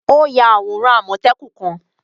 O yà awóran àmọtẹ́kùn kan